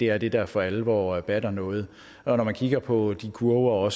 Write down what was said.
er det der for alvor batter noget og når man kigger på de kurver